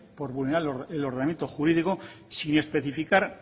por vulnerar el ordenamiento jurídico sin especificar